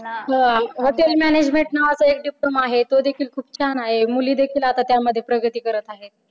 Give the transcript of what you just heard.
hotel management नावाचा एक diploma आहे तो देखील खूप छान आहे. मुलीदेखील आता त्यामध्ये प्रगती करत आहेत.